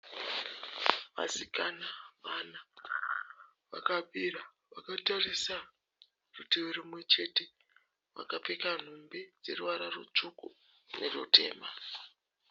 Vasikana vana vakamira vakatarisa rutivi rumwe chete. Vakapfeka nhumbi dzeruvara rutsvuku nerutema.